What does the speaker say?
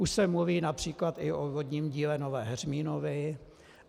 Už se mluví například i o vodním díle Nové Heřminovy.